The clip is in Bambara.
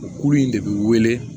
U kuru in de bɛ wele